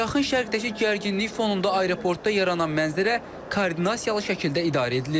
Yaxın şərqdəki gərginlik fonunda aeroportda yaranan mənzərə koordinasiyalı şəkildə idarə edilir.